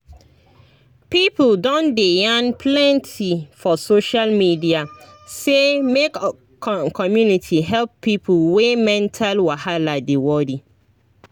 people don dey yarn plenty for social media say make community help people wey mental wahala dey worry